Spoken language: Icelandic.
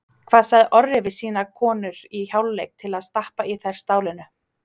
Hvað sagði Orri við sínar konur í hálfleik til að stappa í þær stálinu?